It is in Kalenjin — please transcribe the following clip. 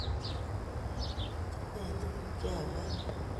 ituge tuguuk che yaamaat